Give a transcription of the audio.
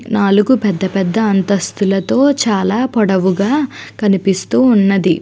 నాలుగు పెద్ద పెద్ద అంతస్థులతో చాల పొడవుగా కనిపిస్తూఉన్నది.